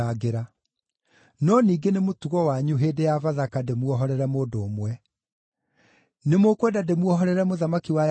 No ningĩ nĩ mũtugo wanyu hĩndĩ ya Bathaka ndĩmuohorere mũndũ ũmwe. Nĩmũkwenda ndĩmuohorere ‘mũthamaki wa Ayahudi’?”